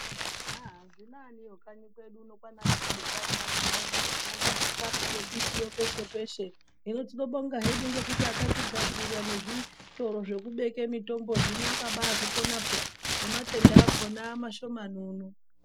Haa zvinaniwo kanyi kwedu kwana Tuzuka uno mubani uno antu arati nembitiyo peshe peshe hino tinobonga hedu ngekuti akadzigadzira nezvitoro zvekubeke mutombo zvino akabazvikona peya nematenda amashomani.